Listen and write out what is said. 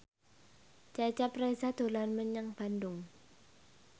Cecep Reza dolan menyang Bandung